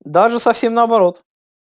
даже совсем наоборот